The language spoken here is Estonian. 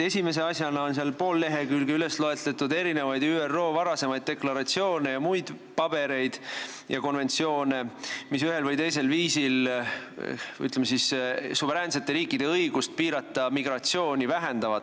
Esimese asjana on seal poolel leheküljel loetletud ÜRO varasemaid deklaratsioone ja konventsioone ja muid dokumente, mis ühel või teisel viisil vähendavad suveräänsete riikide õigust piirata migratsiooni.